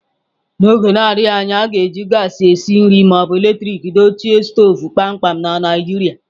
N'oge na-adịghị anya, a ga-eji gaasị esi nri ma ọ bụ eletrik dochie stovu kpamkpam na Naijiria.